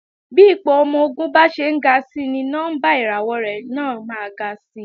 Bí ipò ọmọ-ogun bá ṣe ń ga si ni nọ́mbà ìràwọ̀ rẹ̀ náà máa ga si